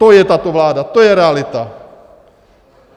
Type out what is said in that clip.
To je tato vláda, to je realita.